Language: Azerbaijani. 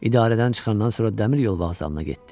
İdarədən çıxandan sonra dəmiryol vağzalına getdi.